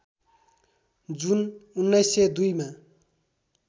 जुन १९०२ मा